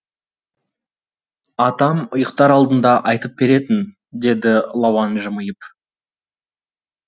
атам ұйықтар алдында айтып беретін деді лауан жымиып